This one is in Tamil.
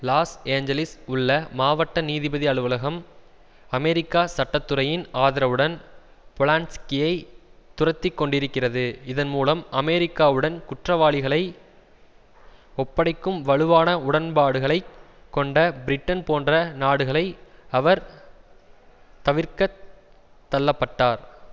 லாஸ் ஏஞ்சலிஸ் உள்ள மாவட்ட நீதிபதி அலுவலகம் அமெரிக்கா சட்டத்துறையின் ஆதரவுடன் பொலான்ஸ்கியை துரத்தி கொண்டிருக்கிறது இதன் மூலம் அமெரிக்காவுடன் குற்றவாளிகளை ஒப்படைக்கும் வலுவான உடன்பாடுகளை கொண்ட பிரிட்டன் போன்ற நாடுகளை அவர் தவிர்க்கத் தள்ள பட்டார்